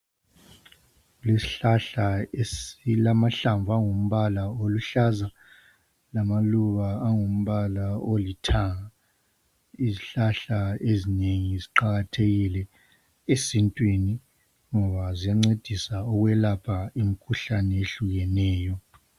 Isihlahla esilamahlamvu angumbala oluhlaza lamaluba angumbala olithanga, izihlahla ezinengi liqakathekile esintwini ngoba ziyancedisa ukwelapha imikhuhlane ehlukeneyo.